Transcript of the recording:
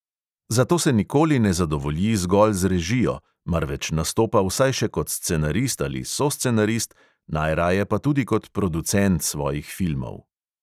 Zato se nikoli ne zadovolji zgolj z režijo, marveč nastopa vsaj še kot scenarist ali soscenarist, najraje pa tudi kot producent svojih filmov.